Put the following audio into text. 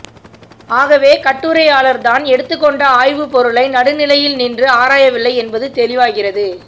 ஆகவே கட்டுரையாளர் தான் எடுத்துக்கொண்ட ஆய்வுப்பொருளை நடுநிலையில் நின்று ஆராயவில்லை என்பது தெளிவாகிறது